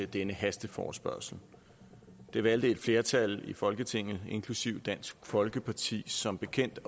denne hasteforespørgsel det valgte et flertal i folketinget inklusive dansk folkeparti som bekendt